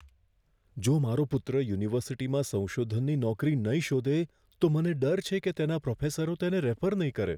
જો મારો પુત્ર યુનિવર્સિટીમાં સંશોધનની નોકરી નહીં શોધે, તો મને ડર છે કે તેના પ્રોફેસરો તેને રેફર નહીં કરે.